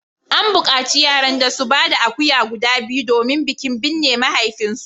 An bukaci yaran da su ba da akuya guda biyu domin bikin binne mahaifinsu